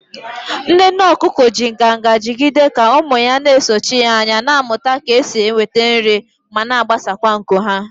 Nne nne okuko ji nganga jigide ka ụmụ ya na-esochi ya anya, na-amụta ka esi enweta nri ma gbasaa nku ha.